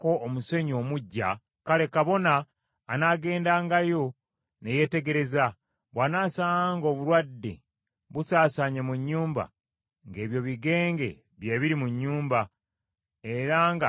kale, kabona anaagendangayo ne yeetegereza; bw’anaasanganga ng’obulwadde busaasaanye mu nnyumba, ng’ebyo bigenge bye biri mu nnyumba, era nga si nnongoofu.